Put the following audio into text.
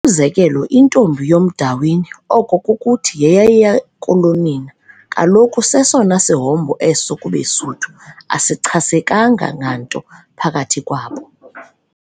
Umzekelo intombi yomDawini, oko kukuthi yeyayiyakulonina, kaloku sesona sihombo eso kubeSuthu, asichasekanga nganto phakathi kwabo.